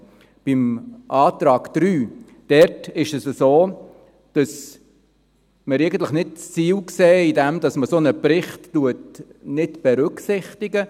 Beim Antrag 3 ist es so, dass wir das Ziel eigentlich nicht darin sehen, dass man einen solchen Bericht nicht berücksichtigt.